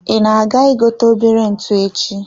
I na-aga I gote obere ntụ echi?